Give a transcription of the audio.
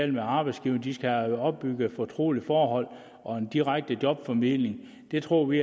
med arbejdsgiverne de skal have opbygget et fortroligt forhold og en direkte jobformidling det tror vi